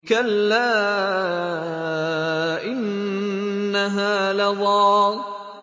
كَلَّا ۖ إِنَّهَا لَظَىٰ